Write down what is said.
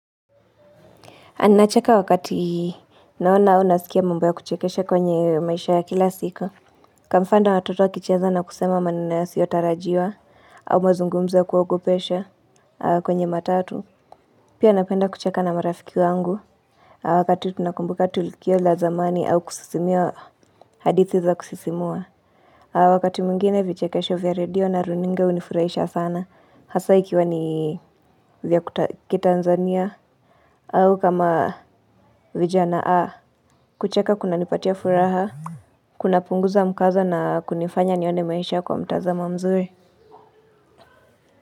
Anacheka wakati naona unasikia mamba ya kuchekesha kwenye maisha ya kila siko Kamfanda watoto wakicheza na kusema maneno yasiyotarajiwa. Au mazungumzo ya kuogopesha kwenye matatu Pia napenda kucheka na marafiki wangu Wakati tunakumbuka tulikio la zamani au kusisimia hadithi za kusisimua Wakati mwingine vichekesha vya redio na runinga hunifurahisha sana hasa ikiwa ni vya kuta kitanzania au kama vijana kucheka kunanipatia furaha Kunapunguza mkaza na kunifanya nione maisha kwa mtazamo mzuri.